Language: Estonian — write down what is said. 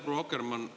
Proua Akkermann!